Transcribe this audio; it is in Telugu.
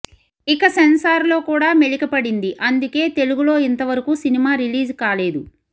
ఇక సెన్సార్ లో కూడా మెలిక పడింది అందుకే తెలుగులో ఇంతవరకు సినిమా రిలీజ్ కాలేదు